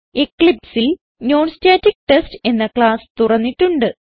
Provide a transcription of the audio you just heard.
Eclipseൽ non static test എന്ന class തുറന്നിട്ടുണ്ട്